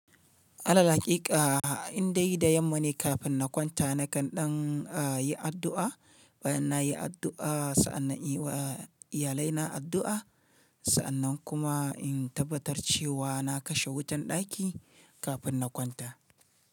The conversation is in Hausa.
Alal haƙiƙa in dai da yamma ne kafin na kwanta nakan ɗan a yi addu'a bayan na yi addu'a sa'an nan in yi wa iyalai na addu'a, sa'an nan kuma in tabbatar cewa na kashe wutan ɗaki kafin na kwanta.